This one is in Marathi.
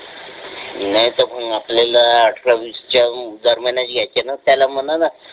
नाहीतर मग आपल्याला अठरा वीस च्या दरम्यानच घ्यायचा आहे ना तुझ्या मनानं